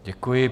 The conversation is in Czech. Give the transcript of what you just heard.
Děkuji.